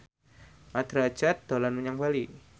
Mat Drajat dolan menyang Bali